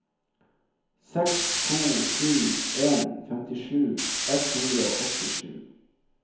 seks to sju en femtisju ett hundre og åttisju